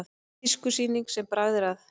Tískusýning sem bragð er að